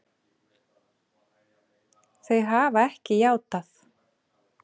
Þau hafa ekki játað.